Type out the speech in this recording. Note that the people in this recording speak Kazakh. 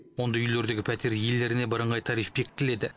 ондай үйлердегі пәтер иелеріне бірыңғай тариф бекітіледі